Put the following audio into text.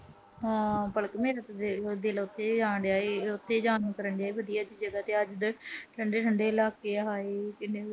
ਹਾਂ ਪਲਕ ਮੇਰੇ ਤਾਂ ਦਿਲੋਂ ਆਣ ਡਿਆ, ਉਥੇ ਜਾਣ ਨੂੰ ਕਰਨ ਡਿਆਂ ਵਧੀਆ ਜੀ ਜਗਾ ਤੇ। ਠੰਡੇ-ਠੰਡੇ ਇਲਾਕੇ। ਹਾਏ ਕਿੰਨਾ ਵਧੀਆ